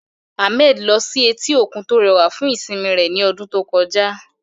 Ahmed lọ sí etí òkun tó rẹwà fún ìsinmi rẹ̀ ní ọdún tó kọjá.